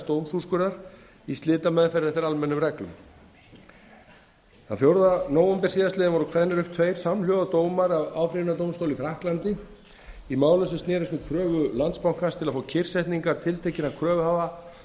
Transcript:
dómsúrskurðar í slitameðferð eftir almennum reglum þann fjórða nóvember síðastliðinn voru kveðnir upp tveir samhljóða dómar af áfrýjunardómstóli í frakklandi í málum sem snerust um kröfu landsbankans til að fá kyrrsetningar tiltekinna kröfuhafa